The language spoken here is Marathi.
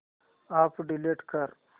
अॅप डिलीट कर